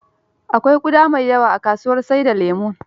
Akwai ƙuda da yawa a kasuwar sai da lemon.